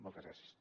moltes gràcies